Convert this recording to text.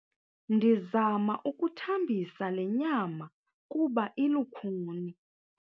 Ndizama ukuthambisa le nyama kuba ilukhuni.